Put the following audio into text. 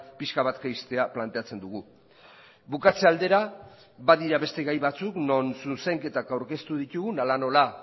pixka bat jaistea planteatzen dugu bukatze aldera badira beste gai batzuk non zuzenketak aurkeztu ditugun hala nola